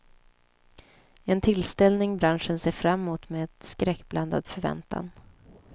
En tillställning branschen ser fram mot med skräckblandad förväntan.